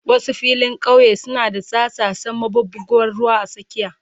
Wasu filin kauye suna da tsattsasen maɓuɓɓugar ruwa a tsakiya.